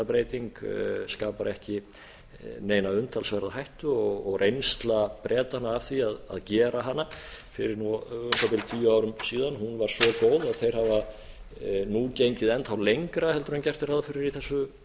breyting skapar ekki neina umtalsverða hættu og reynsla bretanna af því að gera hana fyrir nú um það bil tíu árum síðan var svo góð að þeir hafa nú gengið enn þá lengra heldur en gert er ráð fyrir í þessu